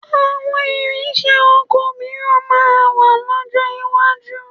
Àwọn ìrinṣẹ́ oko mìíràn máa wà lọ́jọ́ iwájú